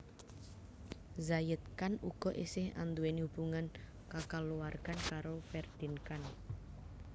Zayed Khan uga esih anduweni hubungan kakaluwargan karo Ferdeen Khan